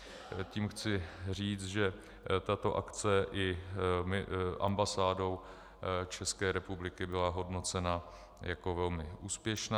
Tím chci říct, že tato akce i ambasádou České republiky byla hodnocena jako velmi úspěšná.